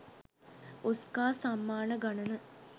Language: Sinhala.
ඔස්කා සම්මාන ගණන